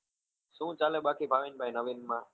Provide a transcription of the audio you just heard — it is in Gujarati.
શું ચાલે બાકી ભાવિન ભાઈ નવીન માં?